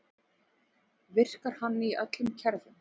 Virkar hann í öllum kerfum?